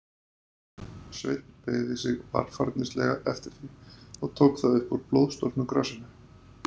Sveinn beygði sig varfærnislega eftir því, og tók það upp úr blóðstorknu grasinu.